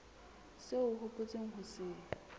seo o hopotseng ho se